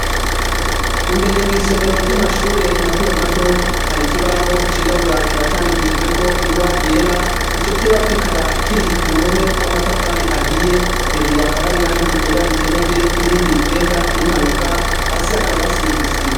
Imbere mw'isomero ry'amashure matomato hari ikibaho cirabura kikaba candikishijeko ingwa yera. Ico kibaho kikaba kiri ku ruhome rw'amatafari ahiye, hejuru hakaba hari irangi ryera rikenyeje, n'irindi rigenda rimanuka, hasi hakaba hasize isima.